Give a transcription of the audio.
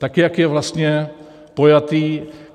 Tak jak je vlastně pojatý.